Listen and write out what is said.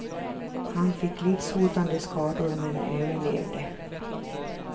Han fick livshotande skador men överlevde.